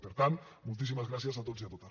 per tant moltíssimes gràcies a tots i a totes